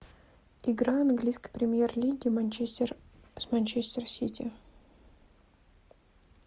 игра английской премьер лиги манчестер с манчестер сити